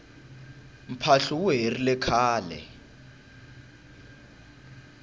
mphahlu wu herile khale